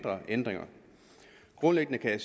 jeg